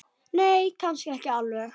Nei, kannski ekki alveg.